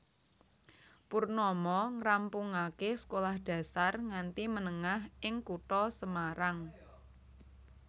Purnomo ngrampungaké sekolah dasar nganti menengah ing kutha Semarang